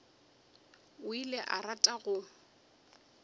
o ile a rata go